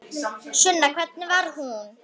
Sunna: Hvernig var hún?